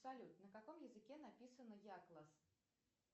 салют на каком языке написано якласс